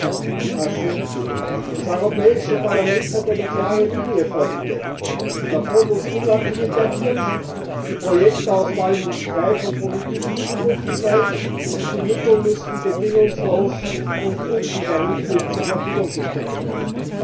als 2007. Das Europäische Parlament hat eine klare Linie vorgegeben Der Fonds muss unabhängig agieren, die Projektauswahl muss frei von politischen Zurufen sein, und die Mittel müssen bedingungslos und unwiderruflich zur Verfügung gestellt werden.